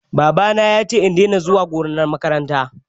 Babana ya ce in daina zuwa gonar makaranta